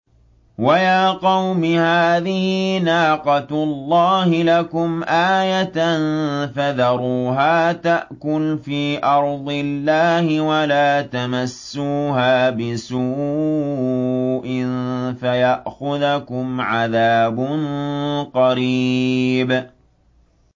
وَيَا قَوْمِ هَٰذِهِ نَاقَةُ اللَّهِ لَكُمْ آيَةً فَذَرُوهَا تَأْكُلْ فِي أَرْضِ اللَّهِ وَلَا تَمَسُّوهَا بِسُوءٍ فَيَأْخُذَكُمْ عَذَابٌ قَرِيبٌ